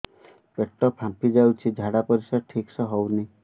ପେଟ ଫାମ୍ପି ଯାଉଛି ଝାଡ଼ା ପରିସ୍ରା ଠିକ ସେ ହଉନି